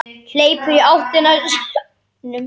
Hleypur í áttina að sjónum.